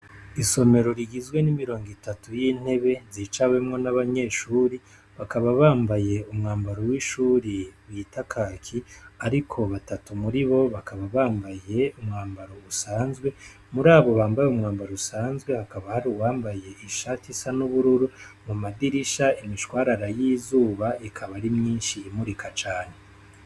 Isomero rigizwe n'imirongo itatu y'intebe zicawemwo n'abanyeshure bakaba bambaye umwambaro w'ishure bita Kaki, ariko batatu muribo bakaba bambaye bisanzwe, murabo bambaye umwambaro usanzwe hakaba hac'uwambaye ishati isa n'ubururu, mu madirisha imishwarara y'izuba, ikaba ari myinshi imurika cane.